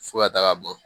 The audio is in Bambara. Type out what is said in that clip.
Fo ka taaga bɔ